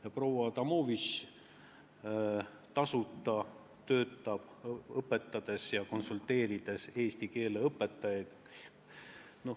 Ja proua Adamovitš töötab tasuta, õpetades ja konsulteerides eesti keele õpetajaid.